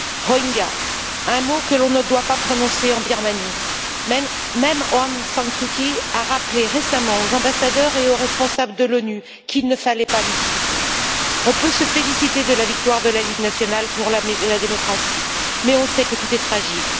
Rohingyas, un mot que l'on ne doit pas prononcer en Birmanie même Aung San Suu Kyi a rappelé récemment aux ambassadeurs et aux responsables de l'ONU qu'il ne fallait pas l'utiliser. On peut se féliciter de la victoire de la Ligue nationale pour la démocratie, mais on sait que tout est fragile.